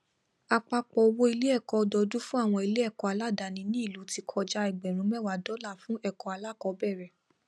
apapọ owó iléẹkọ ọdọdún fún àwọn iléẹkọ aládàní ní ilú ti kọja egberun mewa dola fún ẹkọ alakọbẹrẹ